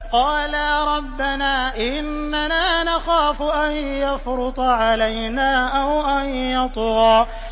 قَالَا رَبَّنَا إِنَّنَا نَخَافُ أَن يَفْرُطَ عَلَيْنَا أَوْ أَن يَطْغَىٰ